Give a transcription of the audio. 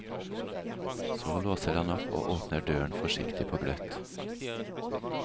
Så låser han opp og åpner døren forsiktig på gløtt.